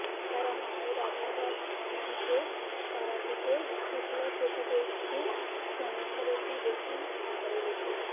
তারা মায়ের আবির্ভাব তিথিতে তারাপীঠে শুক্লা চতুর্দশীর সন্ধারতি দেখুন ঘরে বসেই